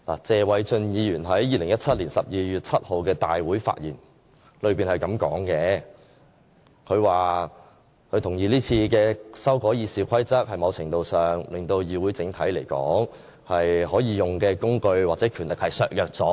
謝偉俊議員在2017年12月7日的大會發言是這樣的，他說他同意這次修改《議事規則》在某程度上令議會整體可以用的工具或權力被削弱了。